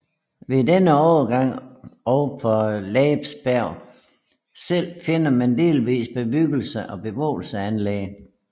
Ved denne overgang og på Laaer Berg selv finder man delvise bebyggelser og beboelsesanlæg